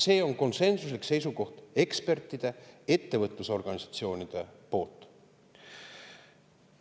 See on ekspertide ja ettevõtlusorganisatsioonide konsensuslik seisukoht.